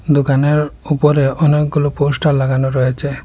দোকানের ওপরে অনেকগুলো পোস্টার লাগানো রয়েছে।